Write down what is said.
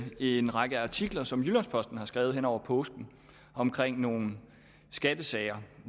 en række artikler som jyllands posten har skrevet hen over påsken om nogle skattesager